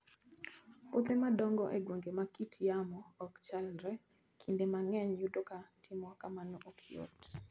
Puothe madongo e gwenge ma kit yamo ok chalre, kinde mang'eny yudo ka timo kamano ok yot.